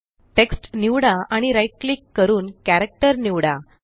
text निवडा आणि right click करून कॅरेक्टर निवडा